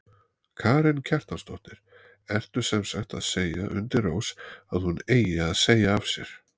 Karen Kjartansdóttir: Ertu semsagt að segja undir rós að hún eigi að segja af sér?